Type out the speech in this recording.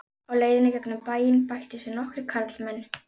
Á leiðinni í gegnum bæinn bættust við nokkrir karlmenn.